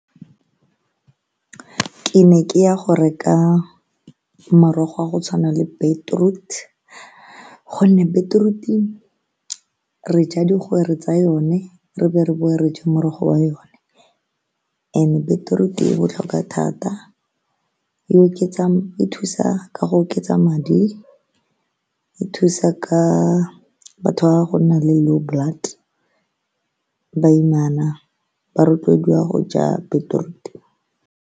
Ke ne ke ya go reka morogo wa go tshwana le beetroot-e gonne beetroot-e re ja tsa yone re be re bowe re je morogo wa yone and-e beetroot-e e botlhokwa thata e thusa ka go oketsa madi e thusa ka batho ba go nna le low blood, baimana ba rotloediwa go ja beetroot-e.